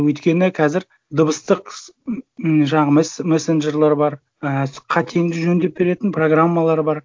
өйткені қазір дыбыстық ммм жаңағы мессенджерлар бар і қатеңді жөндеп беретін программалар бар